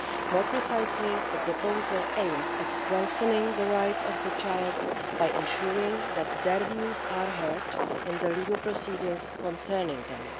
More precisely, the proposal aims at strengthening the rights of the child by ensuring that their views are heard in the legal proceedings concerning them.